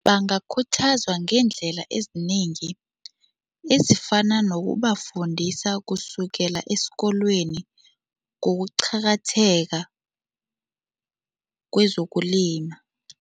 Bangakhuthazwa ngeendlela ezinengi ezifana nokubafundisa kusukela esikolweni ngokuqakatheka kwezokulima.